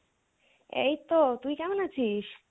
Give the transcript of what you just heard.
এইতো তুই কেমন আছিস?